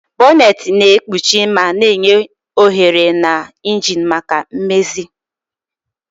Bonneti na-ekpuchi ma na-enye ohere na engine maka mmezi.